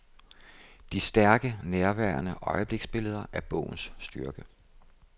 De stærke, nærværende øjebliksbilleder er bogens styrke.